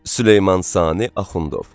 Süleyman Sani Axundov.